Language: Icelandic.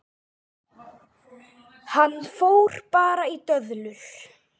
Hann fór bara í döðlur!